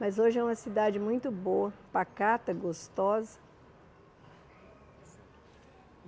Mas hoje é uma cidade muito boa, pacata, gostosa.